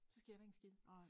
Så sker der ikke en skid